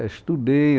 É estudei